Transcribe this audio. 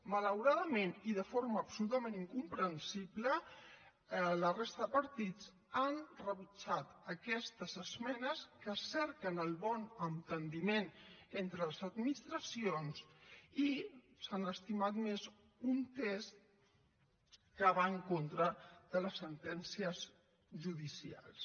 malauradament i de forma absolutament incomprensible la resta de partits han rebutjat aquestes esmenes que cerquen el bon enteniment entre les administracions i s’han estimat més un text que va en contra de les sentències judicials